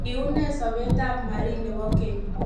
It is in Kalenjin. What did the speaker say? Kiunee sobeet ab Marin nebo keny'.